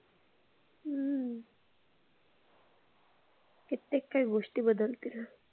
हम्म कित्येक काही गोष्टी बदलतील.